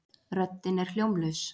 Röddin er hljómlaus.